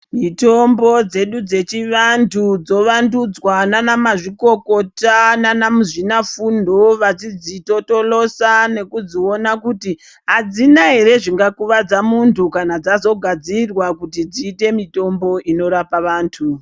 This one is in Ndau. Mitombo dzedu dzechivantu dzovandutswa nana mazvikokota nana muzvinafundo vachidzitotolosa nekudziona kuti adzina ere zvingakuvadza muntu kana dzazogadzirwa kuti dziite mitombo inorapa vantu.